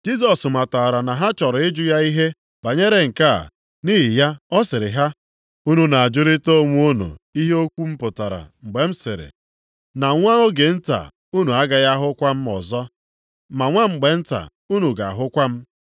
Jisọs matara na ha chọrọ ịjụ ya ihe banyere nke a, nʼihi ya ọ sịrị ha, “Unu na-ajụrịta onwe unu ihe okwu m pụtara mgbe m sịrị, ‘Na nwa oge nta unu agaghị ahụkwa m ọzọ, ma nwa mgbe nta unu ga-ahụkwa m’?